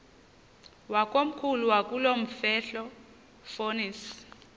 wakomkhulu wakulomfetlho fonis